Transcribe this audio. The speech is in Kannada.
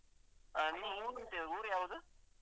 ಹಾ ನಿಮ್ದ್ ಉರ್ ಊರು ಯಾವ್ದು?